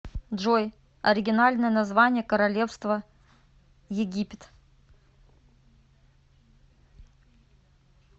джой оригинальное название королевство египет